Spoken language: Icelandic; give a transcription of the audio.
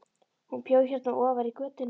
Hún bjó hérna ofar í götunni.